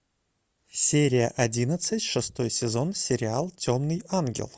серия одиннадцать шестой сезон сериал темный ангел